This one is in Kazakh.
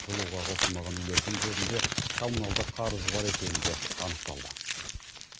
жылуға қосылмаған үйлердің көбінде коммуналдық қарызы бар екені де анықталды